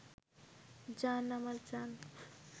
জান আমার জান